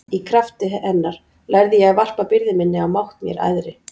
Í krafti hennar lærði ég að varpa byrði minni á mátt mér æðri.